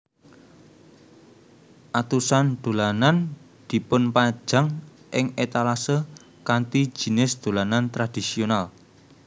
Atusan dolanan dipunpajang ing étalasae kanthi jinis dolanan tradisional